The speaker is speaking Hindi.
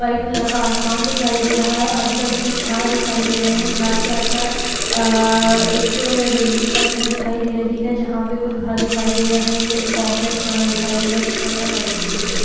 व्हाइट कलर का आसमान दिखाई दे रहा है आजू-बाजू कुछ झाड़ दिखाई दे रहे है झाड़ के आस-पास अ अ एक रेल की पटरी दिखाई दे रही है जहां पे कुछ घर दिखाई दे रहे है एक कोम्प्लेक्स बना दिखाई दे रहा जिसका कलर व्हाइट दिखाई दे रहा है।